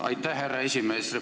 Aitäh, härra aseesimees!